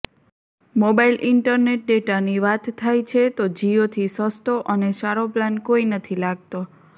mobile internet ડેટાની વાત થાય છે તો જીયોથી સસ્તો અને સારો પ્લાન કોઈ નથી લાગતો